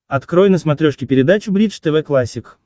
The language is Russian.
открой на смотрешке передачу бридж тв классик